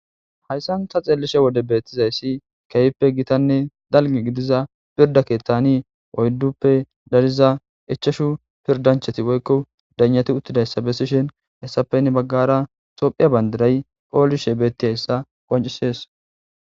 hayssan ta xeeliishshe wode beettizayssi ke'hippe gitanne dalggi giidiza pirda kettani oydduppe dariza ichashshu pirdanchati woykko daynati uttidayssa besishen hessapin hessappe heni baggara toophphiya bandiray pooliishshe bettiyayssa qoncisees